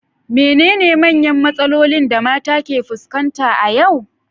Menene manyan matsalolin da mata ke fuskanta a yau?